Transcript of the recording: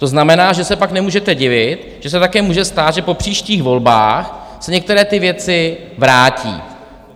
To znamená, že se pak nemůžete divit, že se také může stát, že po příštích volbách se některé ty věci vrátí.